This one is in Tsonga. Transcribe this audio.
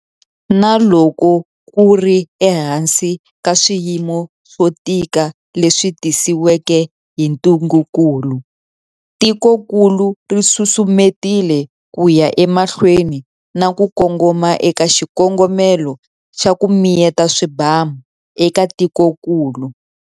Na loko ku ri ehansi ka swiyimo swo tika leswi tisiweke hi ntungukulu, tikokulu ri susumetile ku ya emahlweni na ku kongoma eka xikongomelo xa 'ku miyeta swibamu' eka tikokulu.